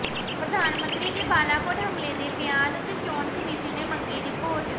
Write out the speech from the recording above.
ਪ੍ਰਧਾਨ ਮੰਤਰੀ ਦੇ ਬਾਲਾਕੋਟ ਹਮਲੇ ਦੇ ਬਿਆਨ ਉਤੇ ਚੋਣ ਕਮਿਸ਼ਨ ਨੇ ਮੰਗੀ ਰਿਪੋਰਟ